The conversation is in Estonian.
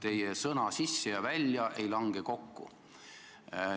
Sissepoole ja väljapoole ei lange teie sõnad kokku.